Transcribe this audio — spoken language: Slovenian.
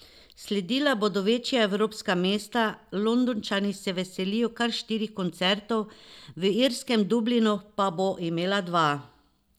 Sledila bodo večja evropska mesta, Londončani se veselijo kar štirih koncertov, v irskem Dublinu pa bo imela dva.